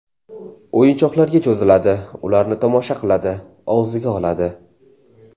O‘yinchoqlarga cho‘ziladi, ularni tomosha qiladi, og‘ziga oladi.